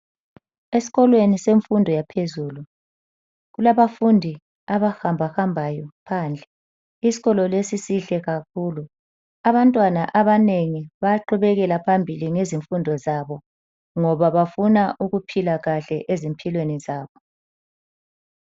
Esikolweni semfundo yaphezulu kulabafundi abahamba hambayo phandle isikolo lesi sihle kakhulu. Abantwana abanengi bayaqhubekela phambili ngezimfundo zabo ngoba bafuna ukuphila kahle ezimpilweni zabo.